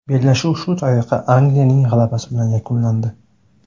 Bellashuv shu tariqa Angliyaning g‘alabasi bilan yakunlandi.